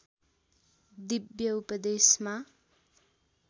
दिव्य उपदेशमा